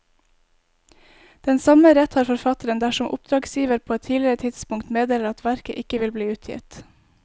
Den samme rett har forfatteren dersom oppdragsgiver på et tidligere tidspunkt meddeler at verket ikke vil bli utgitt.